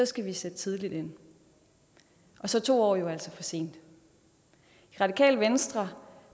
skal vi sætte tidligt ind og så er to år jo altså for sent i radikale venstre